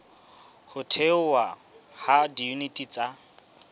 ho thehwa ha diyuniti tsa